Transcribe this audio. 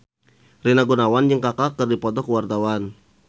Rina Gunawan jeung Kaka keur dipoto ku wartawan